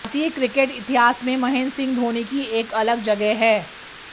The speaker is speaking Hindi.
भारतीय क्रिकेट इतिहास में महेंद्र सिंह धोनी की एक अलग जगह है